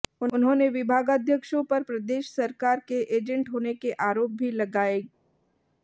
उन्होंने विभागाध्यक्षों पर प्रदेश सरकार के एजेंट होने के आरोप भी लगाएगा